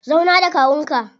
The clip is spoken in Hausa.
Zauna da kawun ka.